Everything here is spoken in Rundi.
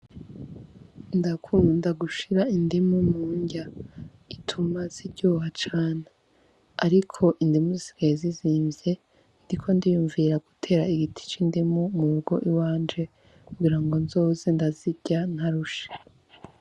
Ndakunda gushira indumu murya ituma ziryoha cane ariko indimu zisigaye zizimvye ndiko ndiyumvira gutera igiti c'indimu murugo iwanje kugirango nzoze ndazirya ntarushe.